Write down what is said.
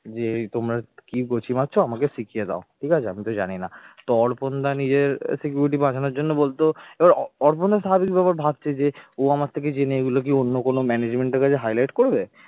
যে তোমার কি গুচি মারছো আমাকে শিখিয়ে দাও ঠিক আছে আমি তো জানি না তো অর্পনদা নিজের security বাঁচানোর জন্য বলতো অর্পনদা স্বাভাবিক ব্যাপার ভাবছে যে ও আমার থেকে জেনে এগুলো কি অন্য কোন management এর কাছে highlight করবে